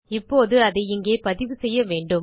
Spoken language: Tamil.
இப்போது அதை இங்கே பதிவு செய்யவேண்டும்